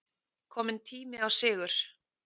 Kominn tími á sigur